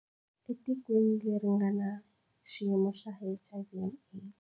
Etikweni leri nga na xiyimo xa HIV and AIDS.